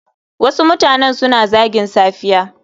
Wasu mutane suna zagin safiya.